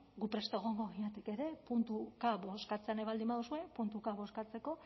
gu prest egongo ginateke ere puntuka bozkatzea nahi baldin baduzue puntuka bozkatzeko